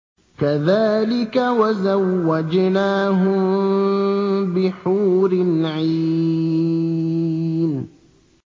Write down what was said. كَذَٰلِكَ وَزَوَّجْنَاهُم بِحُورٍ عِينٍ